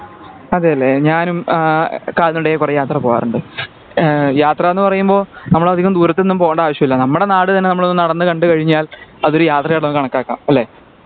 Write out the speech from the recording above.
അതെലെ ഞാനും ആഹ് കാൽനട ആയി കൊറേ യാത്ര പോകാറുണ്ട് ഏഹ് യാത്രാന്ന് പറയുമ്പോ നമ്മളധികം ദൂരത്തൊന്നും പോകണ്ട ആവിശ്യം ഇല്ല നമ്മളെ നാട് തന്നെ നമ്മളൊന്ന് നടന്നു കണ്ട് കഴിഞ്ഞാൽ അതൊരു യാത്രയായിട്ട് ഒക്കെ കാണകാക്കാം അല്ലെ